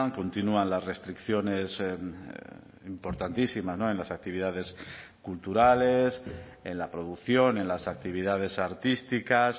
continúan las restricciones importantísima en las actividades culturales en la producción en las actividades artísticas